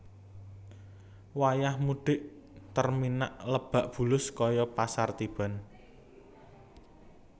Wayah mudhik Terminak Lebak Bulus koyo pasar tiban